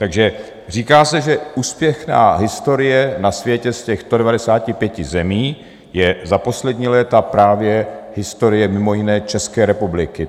Takže říká se, že úspěšná historie na světě z těch 195 zemí je za poslední léta právě historie mimo jiné České republiky.